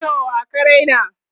Ido wa ka Raina?